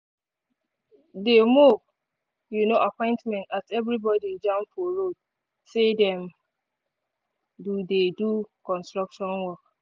de move um appointment as everybody jam for road say them dey do dey do construction work